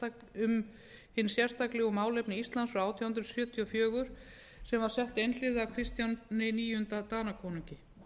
um hin sérstaklegu málefni íslands frá átján hundruð sjötíu og fjögur sem var sett einhliða af kristjáni níunda danakonungi